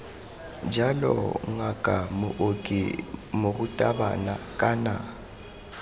jalo ngaka mooki morutabana kana